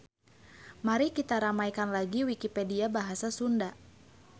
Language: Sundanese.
Mari kita ramaikan lagi wikipedia bahasa Sunda.